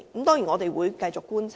當然，我們一定會繼續觀察。